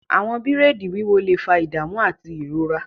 Àwọn bìraidi wiwọ le fa idamu ati irora.